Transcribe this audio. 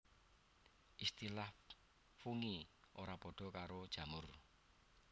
Istilah Fungi ora padha karo jamur